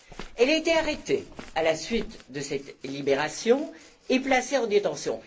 Elle a été arrêtée à la suite de cette libération et placée en détention.